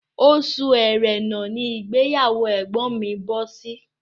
Oṣù ẹrẹ́nà ní ìgbéyàwó ẹ̀gbọ́n mi bọ́ sí